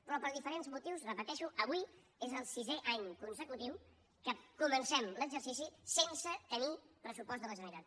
però per diferents motius ho repeteixo avui és el sisè any consecutiu que comencem l’exercici sense tenir pressupost de la generalitat